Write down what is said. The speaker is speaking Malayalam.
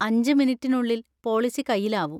അഞ്ച്‌ മിനിറ്റിനുള്ളിൽ പോളിസി കയ്യിലാവും.